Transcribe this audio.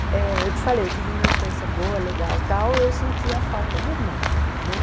Eh eu te falei, eu tive uma infância boa, legal, tal, eu sentia falta de irmãos, né?